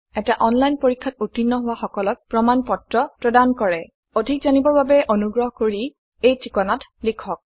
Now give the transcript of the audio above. এটা অনলাইন পৰীক্ষাত উত্তীৰ্ণ হোৱা সকলক প্ৰমাণ পত্ৰ প্ৰদান কৰে অধিক জানিবৰ বাবে অনুগ্ৰহ কৰি contactspoken tutorialorg এই ঠিকনাত লিখক